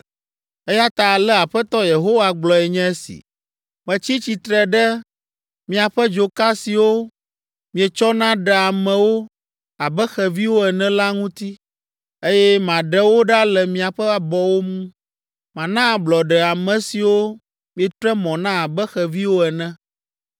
“Eya ta ale Aƒetɔ Yehowa gblɔe nye si, ‘Metsi tsitre ɖe miaƒe dzoka siwo mietsɔna ɖea amewo abe xeviwo ene la ŋuti, eye maɖe wo ɖa le miaƒe abɔwo ŋu. Mana ablɔɖe ame siwo mietre mɔ na abe xeviwo ene.